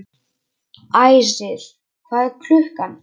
Æsir, hvað er klukkan?